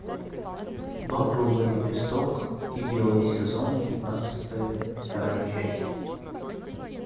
багровый лепесток и белый сезон пятнадцатая вторая часть